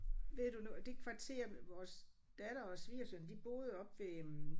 Ved du nu det kvarter vores datter og svigersøn de boede oppe ved øh